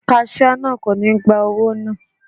Kaṣíá náà kò ní gba owó náà..